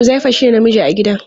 Huzaifa shine namiji a gidan.